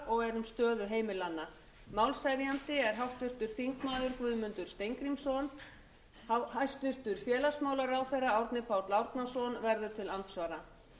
og er um stöðu heimilanna málshefjandi er háttvirtur þingmaður guðmundur steingrímsson hæstvirts félagsmálaráðherra árni páll árnason verður til andsvara